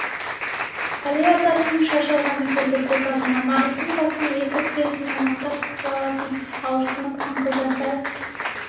әли атасының шаш алғаны келді көз алдына мараттың басын екі тізесімен мықтап қысып алатын ауырсынып қыңқылдаса